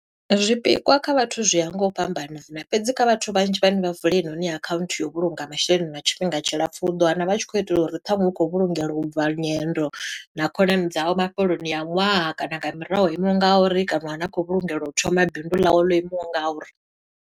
Zwipikwa kha vhathu zwi ya nga u fhambanana, fhedzi kha vhathu vhanzhi vhane vha vula heinoni akhanthu ya u vhulunga masheleni lwa tshifhinga tshilapfu, u ḓo wana vha tshi khou itela uri ṱhanwe u khou vhulungela u bva nyendo, na khonani dzavho mafheloni a ṅwaha. Kana nga murahu imaho nga uri, kana ane a khou vhulungela u thoma bindu ḽawe ḽo imaho nga u ri.